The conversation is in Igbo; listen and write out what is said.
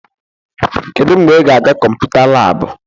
Kedu mgbe ị ga-aga kọmputa laabụ?